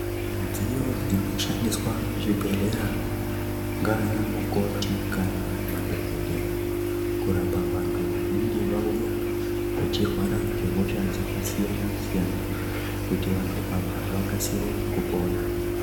Midziyo dzinoshandiswa muzvibhedhlera ngaana mukoti kana madhokodheya kurapa vantu vanenge vauya vachirwara ngehosha dzakasiyanasiyana kuti vantu ava vakasire kupona.